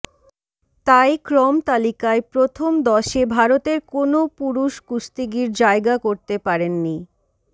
তাই ক্রমতালিকায় প্রথম দশে ভারতের কোনও পুরুষ কুস্তিগীর জায়গা করতে পারেননি